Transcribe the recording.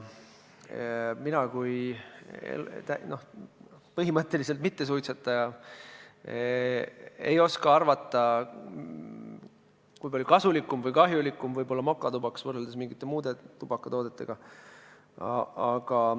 Mina kui põhimõtteliselt mittesuitsetaja ei oska arvata, kui palju kasulikum või kahjulikum võib olla mokatubakas võrreldes mingite muude tubakatoodetega.